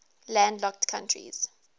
landlocked countries